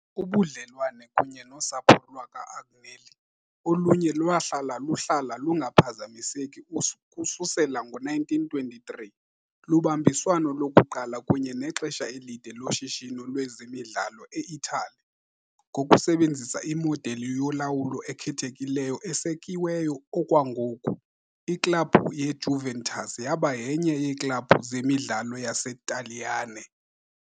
Ubudlelwane kunye nosapho lwakwa-Agnelli, oluye lwahlala luhlala lungaphazamiseki ukususela ngo-1923, lubambiswano lokuqala kunye nexesha elide loshishino lwezemidlalo e-Italy, ngokusebenzisa imodeli yolawulo ekhethekileyo esekiweyo okwangoku, iklabhu yeJuventus yaba yenye yeeklabhu zezemidlalo zaseTaliyane